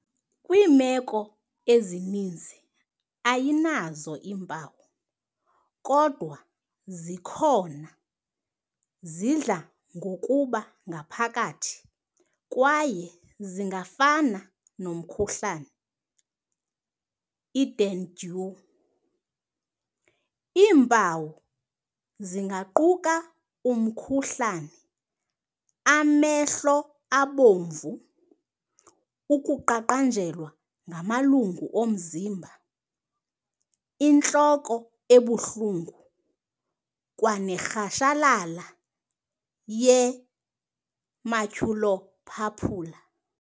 Kwiimeko ezininzi ayinazo iimpawu, kodwa xa zikhona zidla ngokuba ngaphakathi kwaye zingafana nomkhuhlane i-dengue. Iimpawu zingaquka umkhuhlane, amehlo abomvu, ukuqaqanjelwa ngamalungu omzimba, intloko ebuhlungu, kwanerhashalala ye-maculopapular.